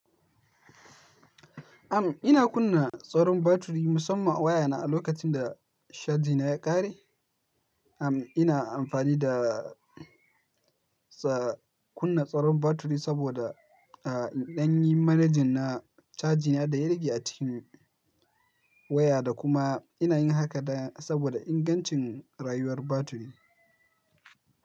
Am, ina kunna tsaron batiri musamman a wayana a lokacin da caji na ya ƙare. Am, ina amfani da ts- kunna tsaron batiri saboda, ah, in ɗan yi manejin na caji na da ya rage a cikin waya da kuma ina yin haka da saboda ingancin rayuwar batiri.